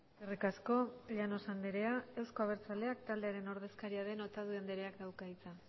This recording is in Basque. eskerrik asko llanos andrea euzko abertzaleak taldearen ordezkaria otadui andreak dauka hitza